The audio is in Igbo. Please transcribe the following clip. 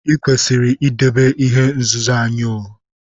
I kwesiri idebe ihe nzuzo anyi o!